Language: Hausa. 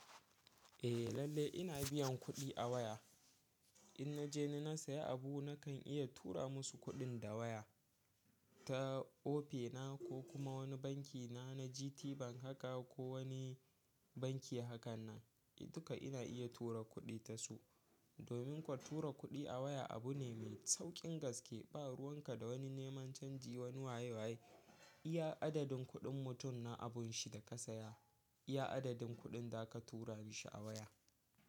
Eh lallai ina biyan kuɗi a waya. In na je na saya abu nakan iya tura musu kuɗin da waya ta Opay na ko kuma wani banki na na GTBank haka ko wani banki hakan nan. Duka ina iya tura kuɗi ta su. Domin kuwa tura kuɗi a waya abu ne mai sauƙin gaske. Ba ruwan ka da wani neman canji wani waye waye. Iya adadin kuɗin mutum na abunshi da ka saya, iya adadin kuɗin da za ka tura mashi a waya.